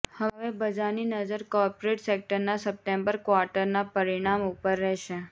હવે બજારની નજર કોર્પોરેટ સેક્ટરના સપ્ટેમ્બર ક્વાર્ટરના પરિણામ ઉપર રહેશે